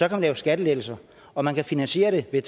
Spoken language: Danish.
lave skattelettelser og man kan finansiere det ved